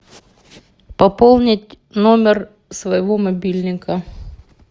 пополнить номер своего мобильника